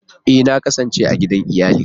Ee! Na kasance a gidan iyali